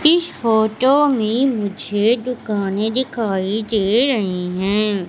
इस फोटो में मुझे दुकाने दिखाई दे रहीं हैं।